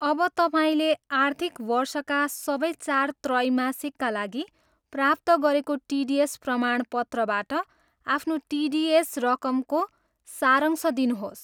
अब तपाईँले आर्थिक वर्षका सबै चार त्रैमासिकका लागि प्राप्त गरेको टिडिएस प्रमाणपत्रबाट आफ्नो टिडिएस रकमको सारांश दिनुहोस्।